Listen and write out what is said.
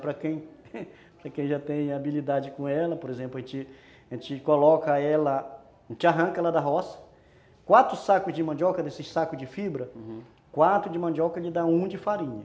Para quem já tem habilidade com ela, por exemplo, a gente coloca ela, a gente arranca ela da roça, quatro sacos de mandioca desses sacos de fibra, uhum, quatro de mandioca lhe dá um de farinha.